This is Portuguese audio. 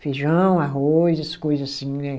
Feijão, arroz, essas coisa assim, né?